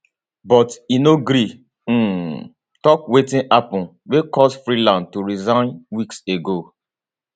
but e no gree um tok wetin happun wey cause freeland to resign weeks ago